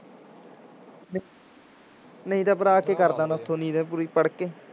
ਨਹੀਂ ਤੇ ਭਰਾ ਪੂਰੀ ਪੜ੍ਹਕੇ